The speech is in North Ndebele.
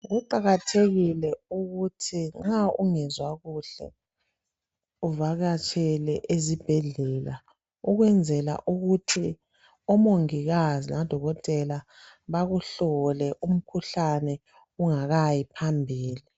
Kuqakathekile ukuthi nxa ungezwa kuhle uvakatshele ezibhedlela ukwenzela ukuthi omongikazi labodokotela bakuhlole umkhuhlane ungakayi phambili.